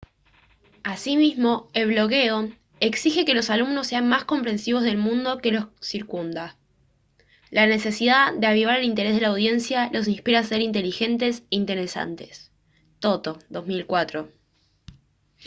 asimismo el blogueo «exige que los alumnos sean más comprensivos del mundo que los circunda». la necesidad de avivar el interés de la audiencia los inspira a ser inteligentes e interesantes toto 2004